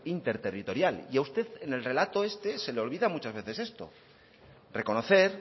interterritorial y a usted en el relato este se le olvida muchas veces esto reconocer